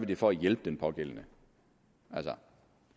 det for at hjælpe den pågældende altså